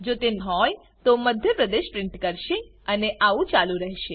જો તે હોય તો મધ્ય પ્રદેશ પ્રિન્ટ કરશે અને આવું ચાલુ રહેશે